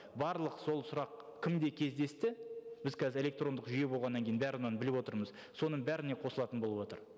барлық сол сұрақ кімде кездесті біз қазір электрондық жүйе болғаннан кейін бәрін оның біліп отырмыз соның бәріне қосылатын болыватыр